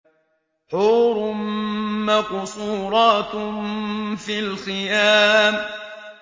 حُورٌ مَّقْصُورَاتٌ فِي الْخِيَامِ